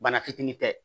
Bana fitinin tɛ